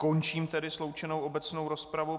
Končím tedy sloučenou obecnou rozpravu.